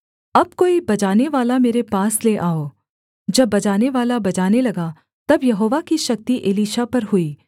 अब कोई बजानेवाला मेरे पास ले आओ जब बजानेवाला बजाने लगा तब यहोवा की शक्ति एलीशा पर हुई